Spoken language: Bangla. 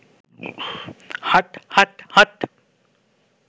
হাট হাট হাট